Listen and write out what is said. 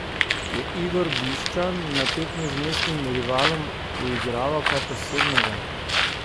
Je Igor Bišćan na tekmi z mestnim rivalom uigraval kaj posebnega?